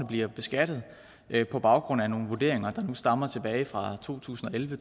bliver beskattet på baggrund af nogle vurderinger der stammer tilbage fra to tusind og elleve